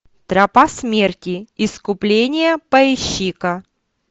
тропа смерти искупление поищи ка